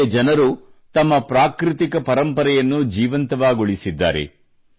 ಇಲ್ಲಿಯ ಜನರು ತಮ್ಮ ಪ್ರಾಕೃತಿಕ ಪರಂಪರೆಯನ್ನು ಜೀವಂತವಾಗುಳಿಸಿದ್ದಾರೆ